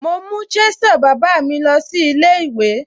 Mo mú chisel bàbá mi lọ sí ilé ìwé.